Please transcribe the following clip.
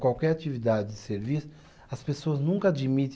Qualquer atividade de serviço, as pessoas nunca admite.